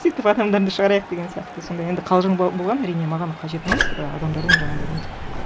сөйтіп адамдарды шығарайық деген сияқты сондай енді қалжың болған әрине маған қажет емес і адамдардың жаңағындай нетіп